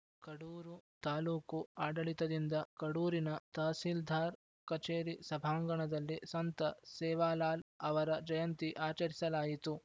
ಕಡೂರು ತಾಲೂಕು ಆಡಳಿತದಿಂದ ಕಡೂರಿನ ತಹಸೀಲ್ದಾರ್‌ ಕಚೇರಿ ಸಭಾಂಗಣದಲ್ಲಿ ಸಂತ ಸೇವಾಲಾಲ್‌ ಅವರ ಜಯಂತಿ ಆಚರಿಸಲಾಯಿತು